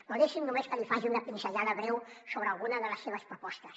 però deixi’m només que li faci una pinzellada breu sobre alguna de les seves propostes